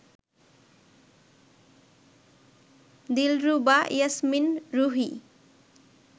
Dilruba Yasmin Ruhi